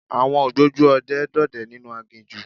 Àwọn ògbójú ọdẹ ń dọdẹ nínú aginjù.